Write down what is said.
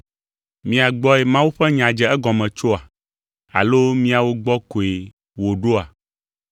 Mia gbɔe Mawu ƒe nya dze egɔme tsoa? Alo miawo gbɔ koe wòɖoa?